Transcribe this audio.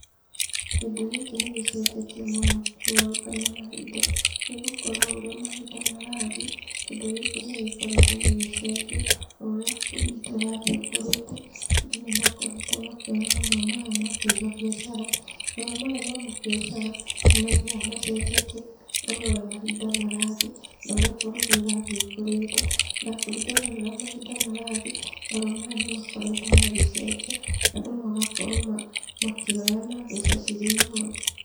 Kĩndũ gĩkĩ nĩ gĩcenjetie mũno kũgarũrũka na mahinda, nĩgũkorwo o ũrĩa mahinda marathiĩ, kĩndũ gĩkĩ nĩ gĩkoretwo gĩgĩcenjia o ũrĩa bũrũri witũ ũrathiĩ ũkũrĩte, andũ nĩ makoretwo makĩoya marũa maya ma kũiga biacara. Marũa maya ma mabiacara, nĩ mathiaga macenjetie ona ũrĩa mahinda marathiĩ, na ũrĩa bũrũri ũrathiĩ ũkũrĩte, na kũringana na ũrĩa mahinda marathiĩ, marũa maya nĩ makoretwo magĩcenjia, andũ magakorwo makĩoya na mbeca cirĩ igũrũ.